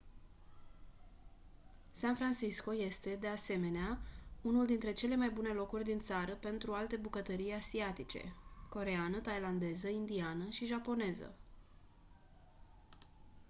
san francisco este de asemenea unul dintre cele mai bune locuri din țară pentru alte bucătării asiatice coreeană thailandeză indiană și japoneză